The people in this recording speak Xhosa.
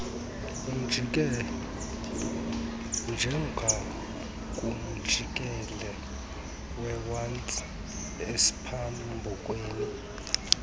njengakumjikelo wewotshi esiphambukeni